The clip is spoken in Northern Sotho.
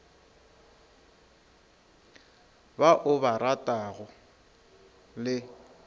ba o ba ratago le